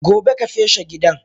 Gobe ka feshe gidan!